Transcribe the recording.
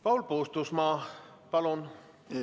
Paul Puustusmaa, palun!